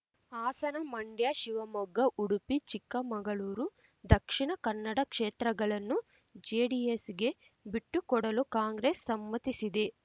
ಹಾಸನ ಮಂಡ್ಯ ಶಿವಮೊಗ್ಗ ಉಡುಪಿ ಚಿಕ್ಕಮಗಳೂರು ದಕ್ಷಿಣ ಕನ್ನಡ ಕ್ಷೇತ್ರಗಳನ್ನು ಜೆಡಿಎಸ್‌ಗೆ ಬಿಟ್ಟುಕೊಡಲು ಕಾಂಗ್ರೆಸ್ ಸಮ್ಮತಿಸಿದೆ